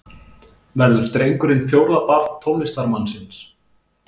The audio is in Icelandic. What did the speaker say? Verður drengurinn fjórða barn tónlistarmannsins